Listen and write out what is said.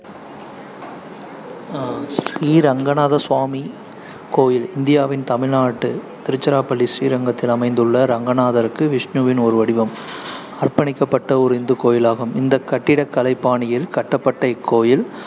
ஸ்ரீ ரங்கநாதசுவாமி கோயில் இந்தியாவின் தமிழ்நாடு, திருச்சிராப்பள்ளி, ஸ்ரீரங்கத்தில் அமைந்துள்ள ரங்கநாதருக்கு விஷ்ணுவின் ஒரு வடிவம் அர்ப்பணிக்கப்பட்ட ஒரு இந்து கோயிலாகும் இந்த கட்டிடக்கலை பாணியில் கட்டப்பட்ட இக்கோயில்,